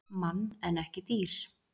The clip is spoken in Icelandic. Mann en ekki dýr.